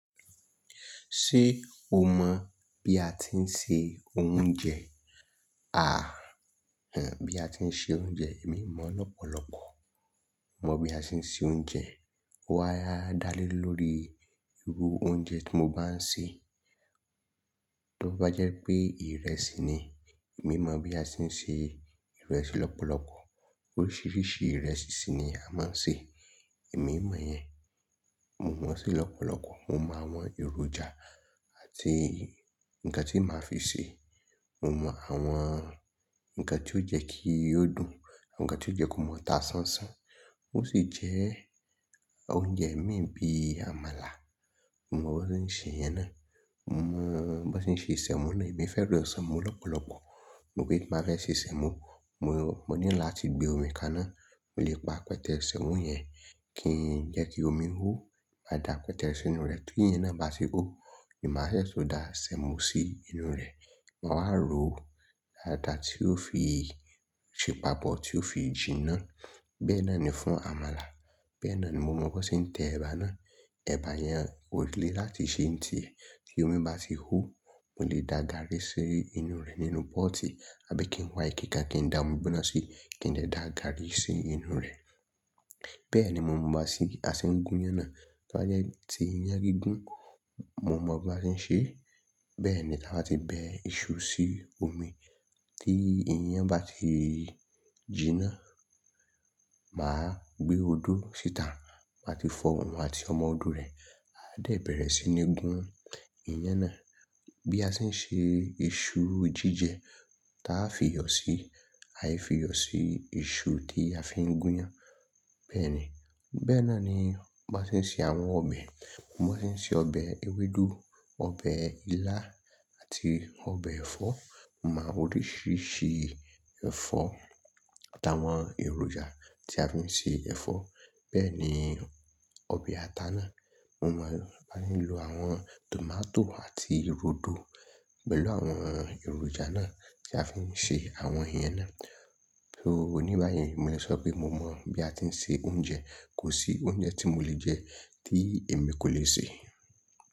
Ṣé o mọ̀ bí a ti ń ṣe oúnjẹ? À, bí a ti ń ṣe oúnjẹ èmi mọ̀ lọ́pọ̀lọpọ̀. Mọ bí a ṣe ń ṣe oúnjẹ. Ó wá ẹ, a dá lé lórí irú oúnjẹ tí mo bá ń ṣe. Tó bá jẹ́ pé ìrẹsì ni, mi mọ̀ bí a si ń ṣe ìrẹsì lọ́pọ̀lọpọ̀. Oríṣiríṣi ìrẹsì sì ni a máa ń ṣe, èmi mọ̀ yẹn. Mo mọ̀ ṣe lọ́pọ̀lọpọ̀. Mo mọ̀ àwọn èròjà àti i nǹkan tí màá fi ṣe. Mo mọ̀ àwọn nǹkan tí ó jẹ́ kí ó dùn àwọn nǹkan tí ó jẹ́ kó máa ta ṣánṣán. Ó sì jẹ́ oúnjẹ mi bí àmàlà, mo mọ̀ bó ṣe ń ṣe ìyẹn náà. Mo mọ̀ bó ṣe ń ṣe sẹ̀mo ni. Èmi fẹ́ràn ìsẹ̀mú lọ́pọ̀lọpọ̀. Pé màá fẹ́ ṣe sẹ̀mo, mo, mo nílò láti gbé omi kaná, mo lè pa pẹtẹẹsì mu yẹn kí ń jẹ́ kí omi hó. Màá da pẹtẹẹsì sínú rẹ̀ tí ìyẹn náà bá ti hó, ni màá sẹ́ tọ da sẹ̀mo sí inú rẹ̀. Ma wá rò dáadáa, tí ó fi ṣe paapo tí ó fi jinná. Bẹ́ẹ̀ náà ni fún àmàlà. Bẹ́ẹ̀ náà ni mo mọ̀ bó ṣe ń tẹ ẹ̀bà náà. Ẹ̀bà ìyẹn ò lè láti ṣe ń tì e. Tí omi bá ti hó, mo lè da gàrrì sí inú rẹ̀ nínú pọ́ọ́tì. Àbí kí n wa ike kan kí n da omi gbígbóná sí, kí ń dẹ̀ dá garri sí inú rẹ̀. Bẹ́ẹ̀ ni mo mọ̀ bá ṣe, a ṣe ń gún iyán náà. Tó bá jẹ́ ti iyán gígùn, mo mọ̀ bá ṣe ń ṣe. Bẹ́ẹ̀ ni ta bá ti bẹ iṣu sí omi tí iyán bá ti jìná, màá gbé odó síta, màá ti fọ òun àti ọmọ odó rẹ̀, a dẹ̀ bẹ̀rẹ̀ sí ní gún iyán náà. Bí a si ń ṣe iṣu jíjẹ ta fi yọ sí, a i fi yọ sí iṣu tí a fi ń gún iyán. Bẹ́ẹ̀ ni. Bẹ́ẹ̀ náà ni bá ṣe ń ṣe àwọn ọbẹ̀. Mo mọ̀ bó ṣe ń ṣe ọbẹ̀ ewédú, ọbẹ̀ ilá àti ọbẹ̀ ẹ̀fọ́. Mo máa àwọn oríṣiríṣi ẹ̀fọ́ àtàwọn èròjà tí a fi ń ṣe ẹ̀fọ́. Bẹ́ẹ̀ ni ọbẹ̀ ata náà. Mo máa bá ye ń lo àwọn tòmátò àti rodo pẹ̀lú àwọn èròjà náà tí a fi ń ṣe àwọn ìyẹn náà. So oníbàá yẹn, mo lè sọ pé mo mọ̀ bí a ti ń ṣe oúnjẹ. Kò sí oúnjẹ tí mo lè jẹ tí èmi kò lè sè.